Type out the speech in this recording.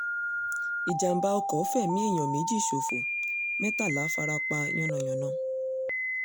ìjàḿbà ọkọ̀ fẹ̀mí èèyàn méjì ṣòfò mẹ́tàlá fara pa yánnayànna